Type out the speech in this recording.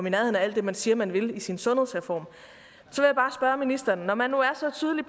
i nærheden af alt det man siger man vil i sin sundhedsreform og ministeren når man nu er så tydelig